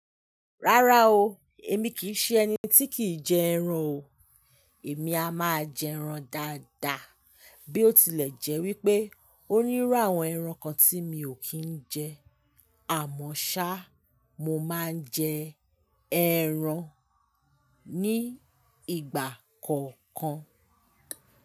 Rárá o, èmi kì í ṣe ẹni tí kìí jẹ ẹran o. Èmi a máa jẹ ẹran dáadáa bí ó tilẹ̀ jẹ́ wípé ó nírú àwọn ẹran kan tí mi ò kí ń jẹ. Àmọ́ ṣá, mo máa ń jẹ ẹran ní ìgbà kọ̀ọ̀kan.